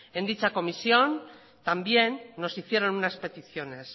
en dicha comisión también nos hicieron unas peticiones